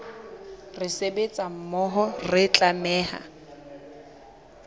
re sebetsa mmoho re tlameha